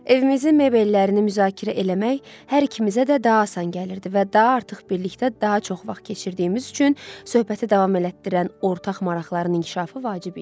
Evimizin mebellərini müzakirə eləmək hər ikimizə də daha asan gəlirdi və daha artıq birlikdə daha çox vaxt keçirdiyimiz üçün söhbəti davam elətdirən ortaq maraqların inkişafı vacib idi.